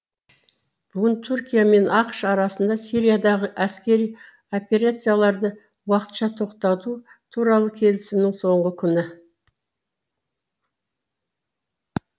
бүгін түркия мен ақш арасында сириядағы әскери операцияларды уақытша тоқтату туралы келісімнің соңғы күні